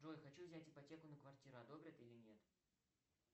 джой хочу взять ипотеку на квартиру одобрят или нет